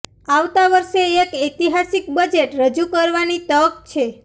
આવતા વર્ષે એક ઐતિહાસિક બજેટ રજુ કરવાની તક છે